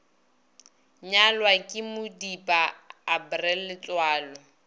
nyalwa ke modipa april letsoalo